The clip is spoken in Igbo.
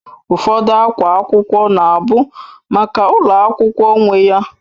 Ụfọdụ akwa akwụkwọ na-abụ maka ulo akwukwo nwe ya